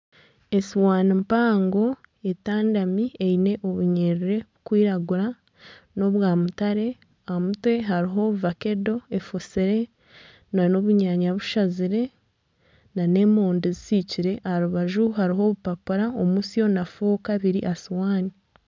Esuuwani mpango etandami eine obunyiriri burikwiragura nobwa mutare aha mutwe hariho vakedo efoosire na n'obunyanya bushazire na n'emondi zisiikire, aha rubaju hariho obupapura omutsyo na fooka biri aha suwaani.